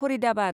Faridabad